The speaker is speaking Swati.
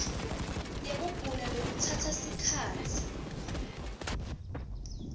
yekugula lokutsatsa sikhatsi